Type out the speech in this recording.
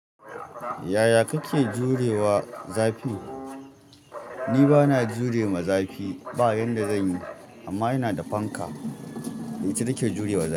Yaya kake jurewa zafi? Ni bana jurewa zafi bayanda zan yi, amma ina da fanka da ita nake jurewa zafi.